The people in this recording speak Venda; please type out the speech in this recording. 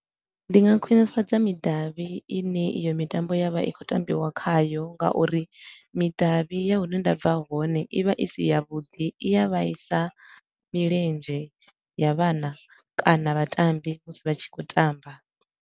Ndi nga khwinifhadza midavhi ine iyo mitambo ya vha i khou tambiwa khayo, nga uri midavhi ya hune nda bva hone i vha i si ya vhuḓi, i a vhaisa milenzhe ya vhana kana vhatambi musi vha tshi khou tamba.